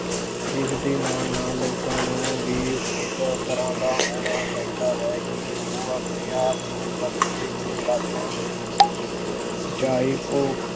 ਜਿਸਦੇ ਨਾਲ ਨਾਲ ਲੋਕਾਂ ਨੂੰ ਵੀ ਇਸ ਤਰ੍ਹਾਂਂ ਦਾ ਹੋਣਾ ਚਾਹੀਦਾ ਹੈ ਕਿ ਉਹ ਆਪਣੇ ਆਪ ਨੂੰ ਬਦਲਦੇ ਹੋਏ ਹਾਲਾਤਾਂ ਚਾਹੇ ਉਹ